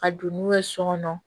Ka don n'u ye so kɔnɔ